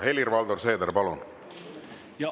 Helir-Valdor Seeder, palun!